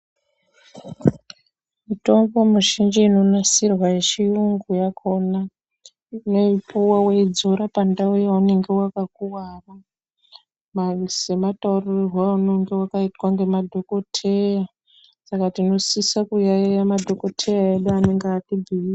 Mitombo mizhinji inonasirwa yechitungu yakona tinoipuwa waidzora pandau yaunenge wakakuwara semataurirwa aunenge wakaitwa ngemadhokoteya saka tinosisa kuyaiya madhokoteya edu.